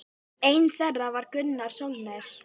Einn þeirra var Gunnar Sólnes.